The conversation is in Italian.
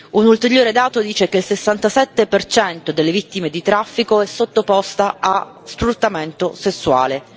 Un ulteriore dato dice che il 67 delle vittime di traffico è sottoposto a sfruttamento sessuale.